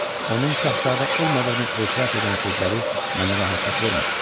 Onun şahzadə olmadığını etiraf edən sözləri mənə rahatlıq vermir.